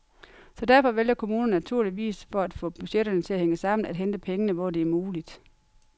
Så derfor vælger kommunerne naturligvis, for at få budgetterne til at hænge sammen, at hente pengene, hvor det er muligt.